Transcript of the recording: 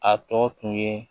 A tɔ tun ye